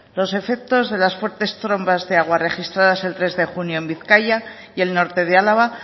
los efectos de las fuertes trombas de agua registradas el tres de junio en bizkaia y el norte de álava